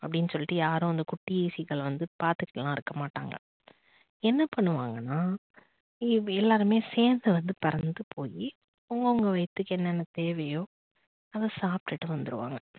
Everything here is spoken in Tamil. அப்படின்னு சொல்லிட்டு யாரும் அந்த குட்டி seegal வந்து பாத்துட்டுலாம் இருக்க மாட்டாங்க. என்ன பண்ணுவாங்கனா எல்லாருமே சேர்ந்து வந்து பறந்து போய் அவங்க அவங்க வயித்துக்கு என்னென்ன தேவையோ அத சாப்டுட்டு வந்துடுவாங்க